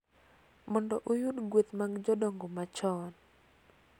mondo oyud gueth mag jodongo machon.